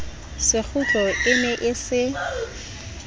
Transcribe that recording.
sekgutlo e ne e se